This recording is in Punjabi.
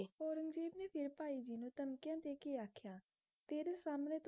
ਔਰੰਗਜੇਬ ਨੇ ਫਿਰ ਭਾਈ ਜੀ ਨੂੰ ਧਮਕੀਆ ਦੇ ਕੇ ਆਖਿਆ ਤੇਰੇ ਸਾਹਮਣੇ